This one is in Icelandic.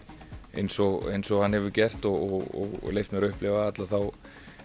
eins og eins og hann hefur gert og leyft mér að upplifa alla þá